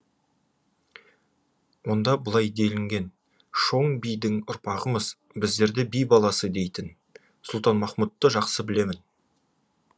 онда былай делінген шоң бидің ұрпағымыз біздерді би баласы дейтін сұлтанмахмұтты жақсы білемін